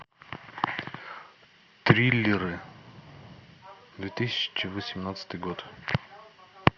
триллеры две тысячи восемнадцатый год